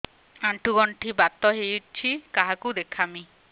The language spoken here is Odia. ଆଣ୍ଠୁ ଗଣ୍ଠି ବାତ ହେଇଚି କାହାକୁ ଦେଖାମି